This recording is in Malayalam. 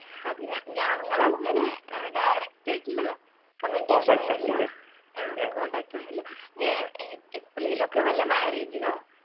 അത് ഞാ ഞങ്ങളങ്ങനെ ഏർ direct ആയിട്ടുള്ള communication ഒന്നുല്ല ആ contact ഒന്നുല്ല ഞാൻ എ എപ്പോളെലും ഒക്കെ വല്ല marriage നോ